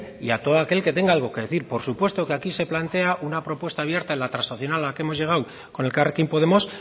y a todo aquel que tenga algo que decir por supuesto que aquí se plantea una propuesta abierta en la transaccional a la que hemos llegado con elkarrekin podemos